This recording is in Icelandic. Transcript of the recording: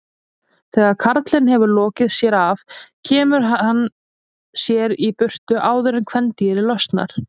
Þegar karlinn hefur lokið sér af kemur hann sér í burtu áður en kvendýrið losnar.